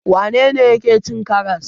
Wane ne yake cin karas?